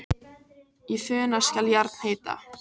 Í funa skal járn heita.